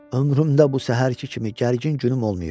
Ömrümdə bu səhərki kimi gərgin günüm olmayıb.